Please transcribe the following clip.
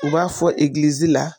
U b'a fɔ egilizi la